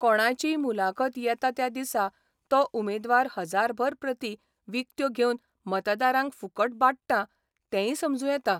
कोणाचीय मुलाखत येता त्या दिसा तो उमेदवार हजारभर प्रती विकत्यो घेवन मतदारांक फुकट वाट्टा तेंय समजूं येता.